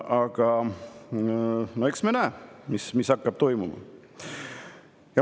Aga eks me näe, mis hakkab toimuma.